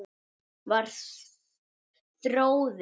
Var Þórður